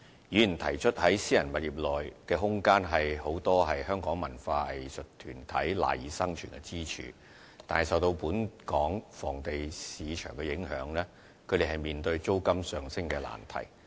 議員提出，在私人物業內的空間，是許多香港文化藝術團體賴以生存的支柱，但是，受到本港房地產市場的影響，他們面對租金上升的難題。